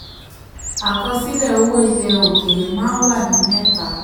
37. àkọsílẹ̀ owó ilẹ̀ òkèèrè maa ń wà ní mẹ́ta.